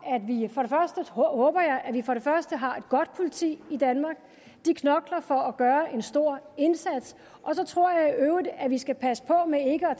håber jeg at vi har et godt politi i danmark de knokler for at gøre en stor indsats og så tror jeg i øvrigt at vi skal passe på med ikke at